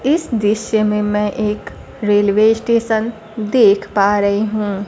इस दृश्य में मैं एक रेलवे स्टेशन देख पा रही हूं।